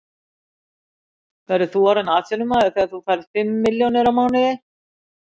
Verður þú orðinn atvinnumaður þegar þú fær fimm milljónir á mánuði?